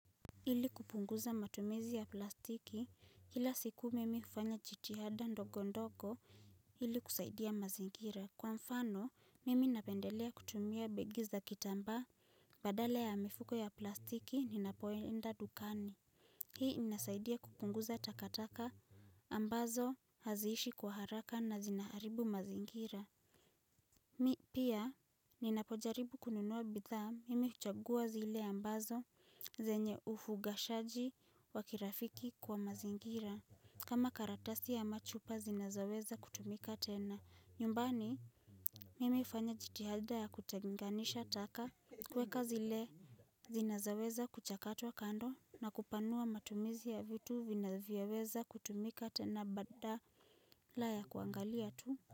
Ili kupunguza matumizi ya plastiki kila siku mimi hufanya jitihada ndogo ndogo ili kusaidia mazingira. Kwa mfano mimi napendelea kutumia begi za kitambaa badala ya mifuko ya plastiki ninapoenda dukani. Hii inasaidia kupunguza takataka ambazo haziishi kwa haraka na zinaharibu mazingira. Mi pia ninapojaribu kununua bidhaa mimi huchagua zile ambazo zenye ufugashaji wakirafiki kwa mazingira kama karatasi ya machupa zinazaweza kutumika tena. Nyumbani mimi hufanya jitihada ya kutenganisha taka kuweka zile zinazoweza kuchakatwa kando na kupanua matumizi ya vitu vinavyoweza kutumika tena bata la ya kuangalia tu.